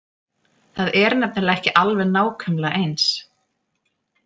Það er nefnilega ekki alveg nákvæmlega eins.